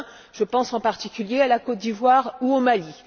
Je pense, en particulier, à la Côte d'Ivoire ou au Mali.